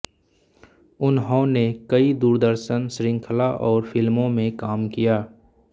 उन्होंने कई दूरदर्शन श्रृंखला और फिल्मों मे काम किया है